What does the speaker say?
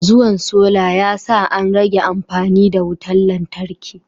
Zuwan solar yasa an rage amfani da wutar lantarki